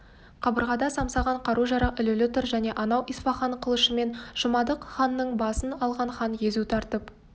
қабырғада самсаған қару-жарақ ілулі тұр әне анау исфаған қылышымен жұмадық ханның басын алған хан езу тартып